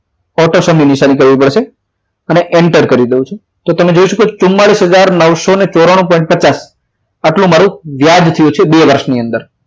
auto sum ની નિશાની કરવી પડશે અને enter કરી દઉં છું તો તમે જોઈ શકો છો ચુમાડીસ હજાર નવસો ચોરાનું પોઈન્ટ પચાસ આટલું મારું આટલું મારું વ્યાજ થયું છે બે વર્ષની અંદર